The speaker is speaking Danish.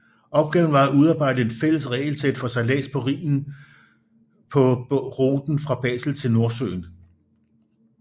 Opgaven var at udarbejde et fælles regelsæt for sejlads på Rhinen på ruten fra Basel til Nordsøen